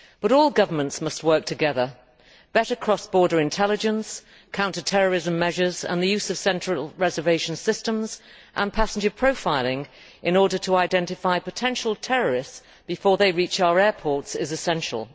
All governments must work together better cross border intelligence, counter terrorism measures and the use of central reservation systems and passenger profiling to identify potential terrorists before they reach our airports are essential.